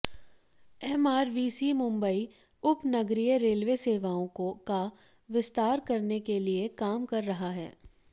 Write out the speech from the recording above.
MRVC Mumbai उपनगरीय railway सेवाओं का विस्तार करने के लिए काम कर रहा है